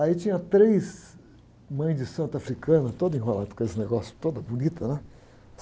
Aí tinha três mães de santo africana, toda enrolada com esse negócio, toda bonita, né?